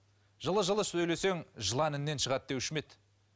жылы жылы сөйлесең жылан інінен шығады деуші ме еді